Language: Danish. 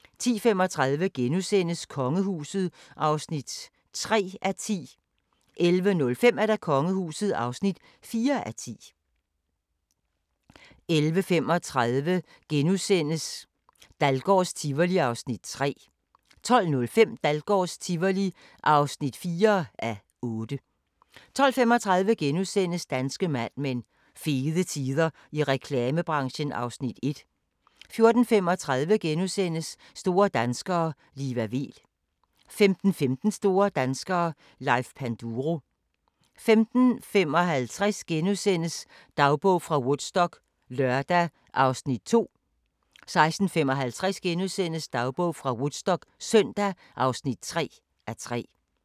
11:35: Dahlgårds Tivoli (3:8)* 12:05: Dahlgårds Tivoli (4:8) 12:35: Danske Mad Men: Fede tider i reklamebranchen (Afs. 1)* 14:35: Store danskere - Liva Weel * 15:15: Store danskere - Leif Panduro 15:55: Dagbog fra Woodstock - lørdag (2:3)* 16:55: Dagbog fra Woodstock - søndag (3:3)* 17:55: Huset på Christianshavn (42:84)* 18:20: Huset på Christianshavn (43:84)* 18:55: Flådens historie (6:7)*